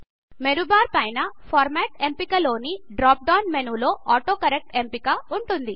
మేను bar పైన format ఎంపిక లోని డ్రాప్ డౌన్ మేను లో ఆటోకరెక్ట్ ఎంపిక ఉంటుంది